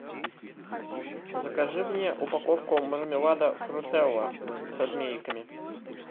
закажи мне упаковку мармелада фрутелла со змейками